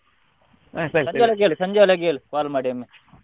ಸಂಜೆಯೊಳಗೆ ಹೇಳು call ಮಾಡಿ ಒಮ್ಮೆ.